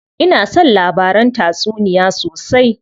Ina son labaran tatsuniya sosai.